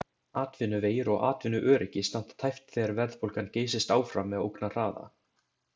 Atvinnuvegir og atvinnuöryggi standa tæpt þegar verðbólgan geysist áfram með ógnarhraða.